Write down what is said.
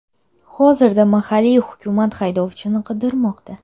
Hozirda mahalliy hukumat haydovchini qidirmoqda.